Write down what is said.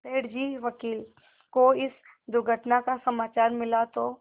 सेठ जी वकील को इस दुर्घटना का समाचार मिला तो